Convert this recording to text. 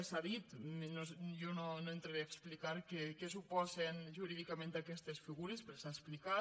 s’ha dit jo no entraré a explicar què suposen jurídicament aquestes figures perquè s’ha explicat